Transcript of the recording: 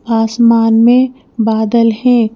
आसमान में बादल हैं।